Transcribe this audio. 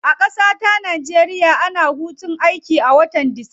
A kasata nigeria, ana hutun aiki a watan disamba.